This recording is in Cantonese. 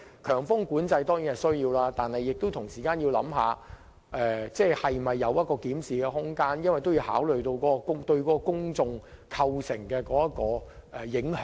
強風管制固然有其需要，但政府同時要思考是否有檢討空間，因為政府應考慮封路對公眾的影響。